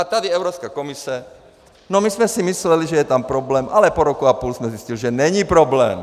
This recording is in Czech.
A tady Evropská komise - no my jsme si mysleli, že je tam problém, ale po roku a půl jsme zjistili, že není problém.